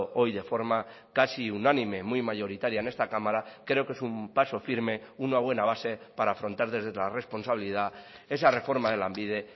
hoy de forma casi unánime muy mayoritaria en esta cámara creo que es un paso firme una buena base para afrontar desde la responsabilidad esa reforma de lanbide